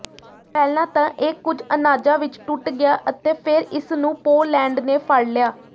ਪਹਿਲਾਂ ਤਾਂ ਇਹ ਕੁਝ ਅਨਾਜਾਂ ਵਿੱਚ ਟੁੱਟ ਗਿਆ ਅਤੇ ਫਿਰ ਇਸਨੂੰ ਪੋਲੈਂਡ ਨੇ ਫੜ ਲਿਆ